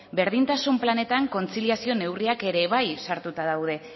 berdintasun planetan kontziliazio neurriak ere bai sartura daude